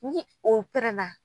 Ni o pɛrɛn na